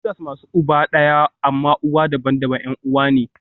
Sisters masu uba ɗaya amma uwa daban-daban 'yan uwa ne